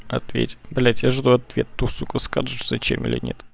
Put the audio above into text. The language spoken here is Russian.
ответь блядь я жду ответ ту скажешь зачем или нет